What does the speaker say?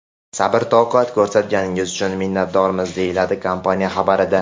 Sabr-toqat ko‘rsatganingiz uchun minnatdormiz”, deyiladi kompaniya xabarida.